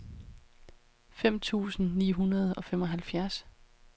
femten tusind ni hundrede og femoghalvfjerds